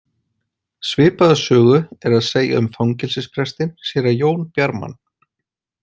Svipaða sögu er að segja um fangelsisprestinn, séra Jón Bjarman.